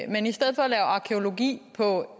men i stedet for at lave arkæologi på